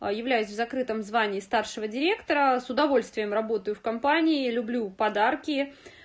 а являюсь закрытом звание старшего директора с удовольствием работаю в компании люблю подарки